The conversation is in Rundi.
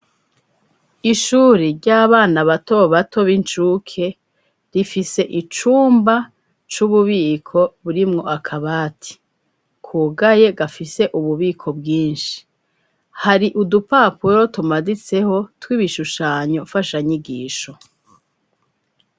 Ishure ry'abana bato bato b'inshuke rifise icumba c'ububiko burimwo akaba ati kugaye gafise ububiko bwinshi hari udupapuro tumaditseho tw'ibishushanyo fasha nyigisho.